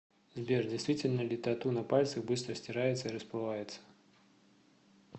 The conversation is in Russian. сбер действительно ли тату на пальцах быстро стирается и расплывается